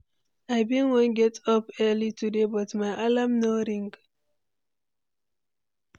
I bin wan get up early today, but my alarm no ring.